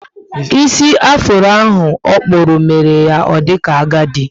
Ísì afuro ahụ okpúrụ, mere ya o dika agadi